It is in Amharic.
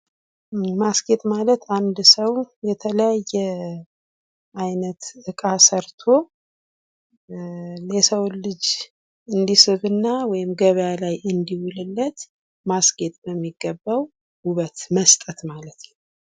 ማስጌጥ ማለት አንድ ሰው የተለያዬ እቃ ሰርቶ የሰውን ልጅ እንዲስብ እና ወይም ገበያ እንዲውል ልማድረግ ማስጌጥ ለሚገባው ዉበት መስጠት ማለት ነው።